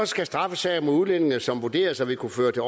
skal straffesager mod udlændinge som vurderes at ville kunne føre til